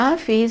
Ah, fiz.